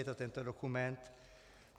Je to tento dokument.